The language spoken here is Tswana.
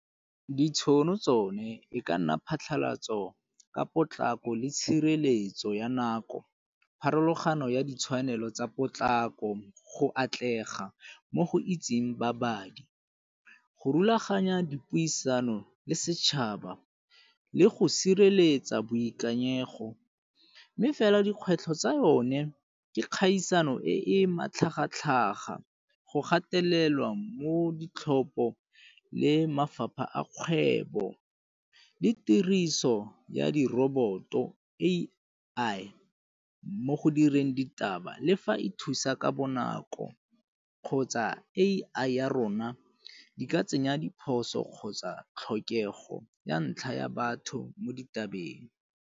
Ditšhono tsone e ka nna phatlhalatso ka potlako le tshireletso ya nako, pharologano ya ditshwanelo tsa potlako, go atlega mo go itseng babadi. Go rulaganya dipuisano le setšhaba le go sireletsa boikanyego, mme fela dikgwetlho tsa yone ke kgaisano e e matlhagatlhaga, go gatelelwa mo ditlhopho le mafapha a kgwebo, le tiriso ya di roboto A_I mo go direng ditaba le fa e thusa ka bonako kgotsa A_I ya rona di ka tsenya diphoso kgotsa tlhokego ya ntlha ya batho mo ditabeng.